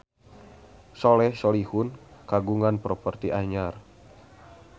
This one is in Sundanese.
Soleh Solihun kagungan properti anyar